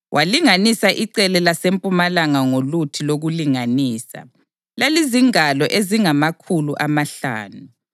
Walinganisa icele lasempumalanga ngoluthi lokulinganisa; lalizingalo ezingamakhulu amahlanu.